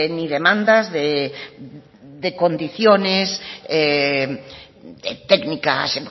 ni demandas de condiciones técnicas